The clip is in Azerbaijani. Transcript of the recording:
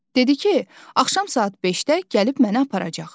Dedi ki, axşam saat 5-də gəlib məni aparacaq.